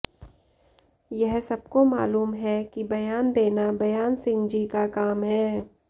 यह सबको मालूम है कि बयान देना बयानसिंह जी का काम है